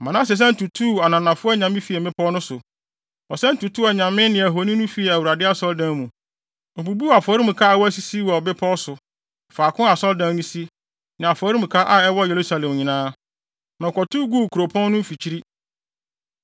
Manase san tutuu ananafo anyame fii mmepɔw no so. Ɔsan tutuu anyame ne ahoni no fii Awurade Asɔredan mu. Obubuu afɔremuka a wasisi wɔ bepɔw so, faako a Asɔredan no si, ne afɔremuka a ɛwɔ Yerusalem nyinaa, na ɔkɔtow guu kuropɔn no mfikyiri.